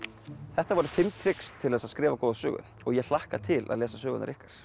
þetta voru fimm trix til þess að skrifa góða sögu og ég hlakka til að lesa sögurnar ykkar